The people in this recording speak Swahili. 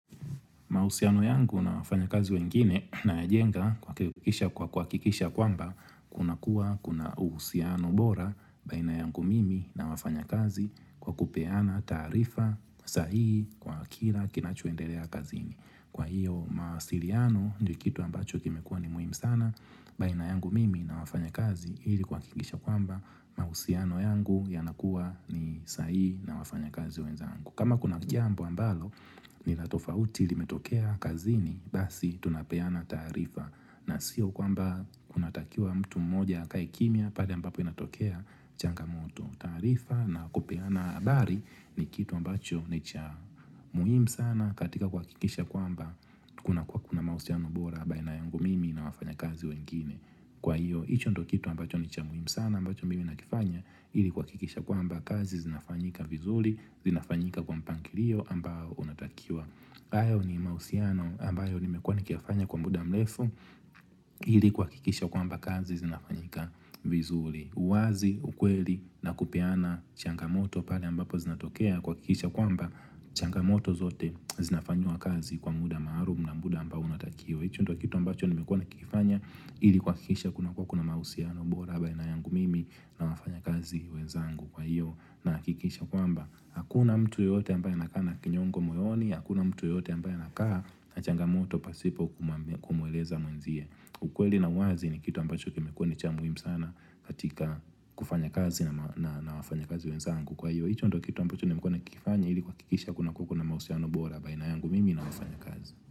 Mahusiano yangu na wafanya kazi wengine nayajenga kwa kuhakikisha kwamba kuna kuwa kuna uhusiano bora baina yangu mimi na wafanya kazi kwa kupeana taarifa sahihi kwa kila kinachoendelea kazini. Kwa hiyo mawasiliano ni kitu ambacho kimekua ni muhimu sana baina yangu mimi na wafanya kazi ili kuhakikisha kwamba mahusiano yangu yanakuwa ni sahihi na wafanya kazi wenzangu. Kama kuna jambo ambalo, nilatofauti ilimetokea kazini, basi tunapeana taarifa na sio kwamba kunatakiwa mtu mmoja akae kimya pale ambapo inatokea changamoto taarifa na kupeana habari ni kitu ambacho nicha muhimu sana katika kuhakikisha kwamba Kuna kwa kuna mahusiano bora, baina yangu mimi na wafanyakazi wengine Kwa hiyo, hicho ndicho kitu ambacho ni cha muhimu sana, ambacho mimi nakifanya ili kuhakikisha kwamba kazi zinafanyika vizuri zinafanyika kwa mpangilio ambao unatakiwa hayo ni mahusiano ambayo nimekuwa nikiyafanya kwa muda mrefu ili kuhakikisha kwamba kazi zinafanyika vizuri uwazi, ukweli na kupiana changamoto pale ambapo zinatokea kuhakikisha kwamba changamoto zote zinafanyiwa kazi kwa muda maalum na muda ambao unatakiwa hicho ndio kitu ambacho nimekuwa nikifanya ili kuhakikisha kuna kua kuna mahusiano bora baina yangu mimi na wafanyakazi wezangu kwa hiyo na hakikisha kwamba Hakuna mtu yote ambaye anakaa na kinyongo moyoni Hakuna mtu yoyote ambaya nakaa na changamoto pasipo kumweleza mwenzie ukweli na uwazi ni kitu ambacho kimekuwa ni cha muhimu sana katika kufanya kazi na na wafanya kazi wezangu kwa hiyo hicho ndo kitu ambacho nimekuwe nikikifanya ili kuhakikisha kuna kua kuna mahusiano bora baina yangu mimi na wafanyakazi.